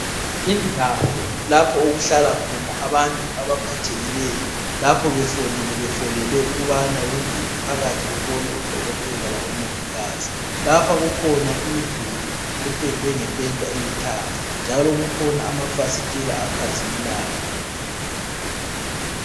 Indawo lapho okuhlala khona abantu abaphathekileyo, lapho befolile befolele ukubana bengene phakathi bebone udokotela labomongikazi. Lapha kukhona imiduli ependwe ngependa elithanga njalo kukhona amafasitela akhazimulayo.